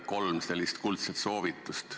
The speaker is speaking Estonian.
Kolm kuldset soovitust.